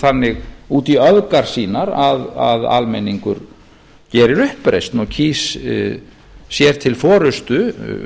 þannig út í öfgar sínar að almenningur gerir uppreisn og kýs sér til forustu